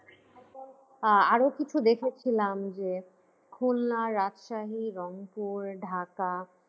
আহ আরো কিছু দেখেছিলাম যে খুলনা, রাজশাহী, রংপুর, ঢাকা